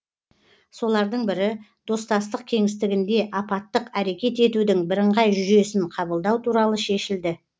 солардың бірі достастық кеңістігінде апаттық әрекет етудің бірыңғай жүйесін қабылдау туралы шешілді